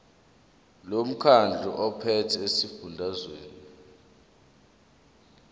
lomkhandlu ophethe esifundazweni